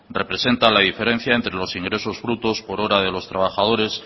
representa la diferencia entre los ingresos brutos por hora de los trabajadores